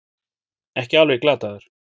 Ekki alveg glataður